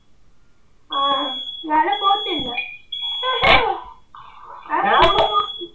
നാളെ പോകത്തില്ല.